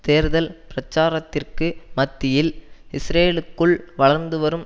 தேர்தல் பிரசாரத்திற்கு மத்தியில் இஸ்ரேலுக்குள் வளர்ந்து வரும்